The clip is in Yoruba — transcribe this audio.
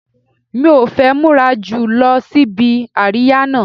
Mi ò fẹ́ múra jù lọ síbi àríyá náà